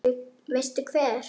Veistu hver